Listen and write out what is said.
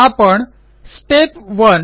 आपण स्टेप 1